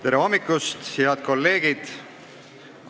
Tere hommikust, head kolleegid!